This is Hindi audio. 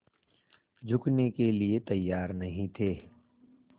झुकने के लिए तैयार नहीं थे